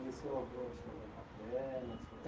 E o seu avô era seu avô paterno?